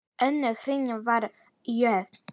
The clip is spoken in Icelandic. Önnur hrinan var jöfn.